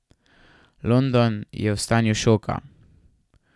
London je v stanju šoka.